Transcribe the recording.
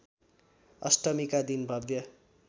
अष्टमीका दिन भव्य